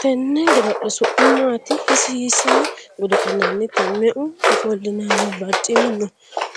Tenne godo'le su'mi maati? Hiissino godo'linannite? Me"u ofolinanni barichimi no?